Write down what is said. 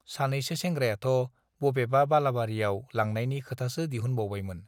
सानैसो सेंग्रायाथ' बबेबा बालाबारियाव लांनायनि खोथासो दिहुनबायमोन।